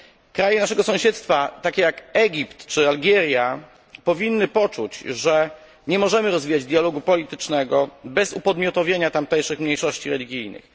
Kraje naszego sąsiedztwa, takie jak Egipt czy Algieria, powinny poczuć, że nie możemy rozwijać dialogu politycznego bez upodmiotowienia tamtejszych mniejszości religijnych.